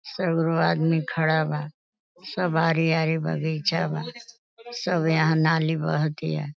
सगरो आदमी खड़ा बा। सब आरी-आरी बगीचा बा। सब यहाँ नाली बहतिया।